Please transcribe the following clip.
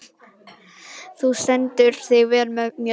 Þú stendur þig vel, Mjöll!